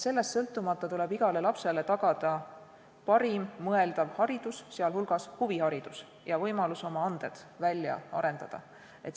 Sama käib ka huvihariduse ja oma annete väljaarendamise kohta.